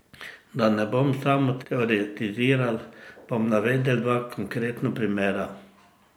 Da ne bom samo teoretiziral, bom navedel dva konkretna primera.